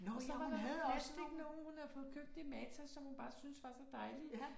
Så var der nogen plastiknogen hun havde fået købt i Matas som hun bare syntes var så dejlige